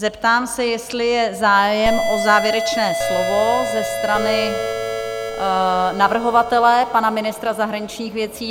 Zeptám se, jestli je zájem o závěrečné slovo ze strany navrhovatele pana ministra zahraničních věcí?